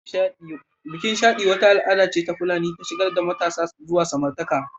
Bikin Shaɗi wata al'ada ce ta Fulani ta shigar da matasa zuwa samartaka